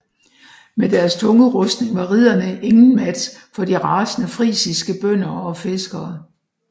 Med deres tunge rustning var ridderne ingen match for de rasende frisiske bønder og fiskere